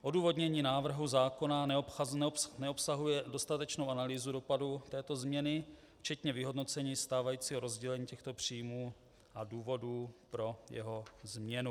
Odůvodnění návrhu zákona neobsahuje dostatečnou analýzu dopadu této změny, včetně vyhodnocení stávajícího rozdělení těchto příjmů a důvodů pro jeho změnu.